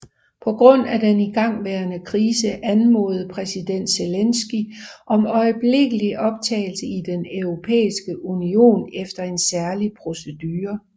På grund af den igangværende krise anmodede præsident Zelenskyj om øjeblikkelig optagelse i Den Europæiske Union efter en særlig procedure